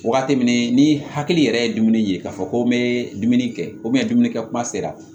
Wagati min ni hakili yɛrɛ ye dumuni ye k'a fɔ ko n bɛ dumuni kɛ dumuni kɛ kuma sera